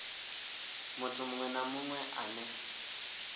muthu munwe na munwe ane